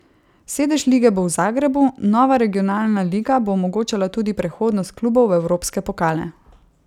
Sedež lige bo v Zagrebu, nova regionalna liga bo omogočala tudi prehodnost klubov v evropske pokale.